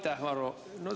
Aitäh, Varro!